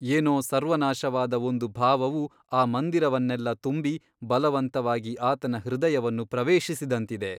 ಏನೋ ಸರ್ವನಾಶವಾದ ಒಂದು ಭಾವವು ಆ ಮಂದಿರವನ್ನೆಲ್ಲ ತುಂಬಿ ಬಲವಂತವಾಗಿ ಆತನ ಹೃದಯವನ್ನು ಪ್ರವೇಶಿಸಿದಂತಿದೆ.